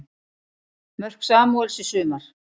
Mörk Samúels í sumar